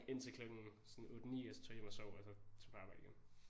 Indtil klokken sådan 8 9 og så tog jeg hjem og sov og så tog på arbejde igen